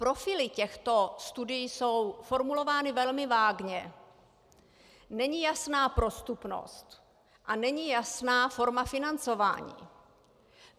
Profily těchto studií jsou formulovány velmi vágně, není jasná prostupnost a není jasná forma financování.